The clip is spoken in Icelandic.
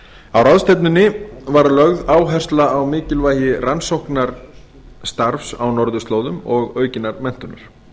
á ráðstefnunni var lögð áhersla á mikilvægi rannsóknarstarfs á norðurslóðum og aukinnar menntunar